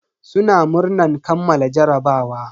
Suna murnan kammala jarabawa.